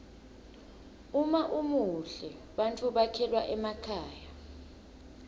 uma umuhle bantfu bekhelwa emakhaya